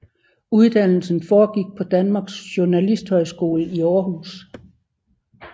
Uddannelsen forgik på Danmarks Journalisthøjskole i Aarhus